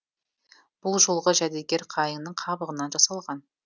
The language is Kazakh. бұл жолғы жәдігер қайыңның қабығынан жасалған